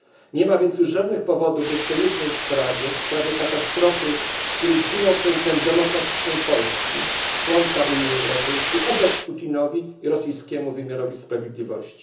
Nie ma już więc żadnych powodów, by w tej jednej sprawie, sprawie katastrofy, w której zginął prezydent demokratycznej Polski, członka Unii Europejskiej, ufać Putinowi i rosyjskiemu wymiarowi sprawiedliwości.